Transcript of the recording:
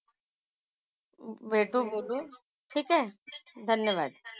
भेटू. बोलू. ठीक आहे? धन्यवाद.